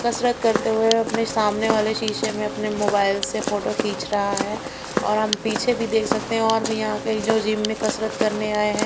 कसरत करते हुए अपने सामने वाले शीशे में अपने मोबाइल से फोटो खींच रहा है और हम पीछे भी देख सकते हैं और भी यहां आ के जो जिम में कसरत करने आए हैं।